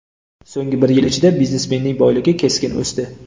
So‘nggi bir yil ichida biznesmenning boyligi keskin o‘sdi.